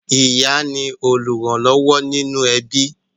ìyá ni olùrànlọ́wọ́ inú ẹbí